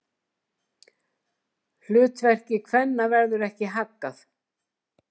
Hlutverki kvenna verður ekki haggað.